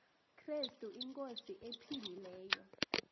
krestu inkosi ephilileyo